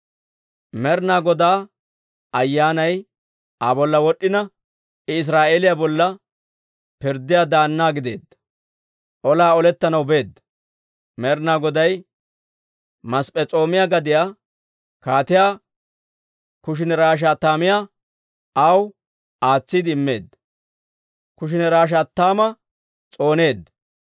Med'inaa Godaa Ayyaanay Aa bolla wod'd'ina, I Israa'eeliyaa bolla pirddiyaa daanna gideedda. Olaa olettanaw beedda; Med'inaa Goday Masp'p'es'oomiyaa gadiyaa Kaatiyaa Kushaani-Rish"ataymma aw aatsiide immeedda; Kushaani-Rish"ataymma s'ooneedda.